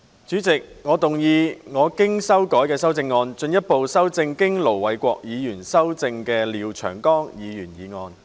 主席，我動議我經修改的修正案，進一步修正經盧偉國議員修正的廖長江議員議案。